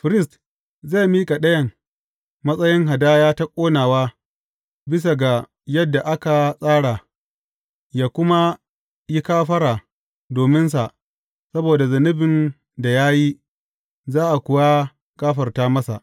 Firist zai miƙa ɗayan matsayin hadaya ta ƙonawa bisa ga yadda aka tsara, yă kuma yi kafara dominsa saboda zunubin da ya yi, za a kuwa gafarta masa.